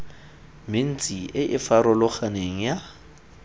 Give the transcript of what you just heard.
mentsi e e farologaneng ya